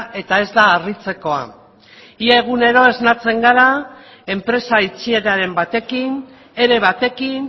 eta ez da harritzekoa ia egunero esnatzen gara enpresa itxieraren batekin ere batekin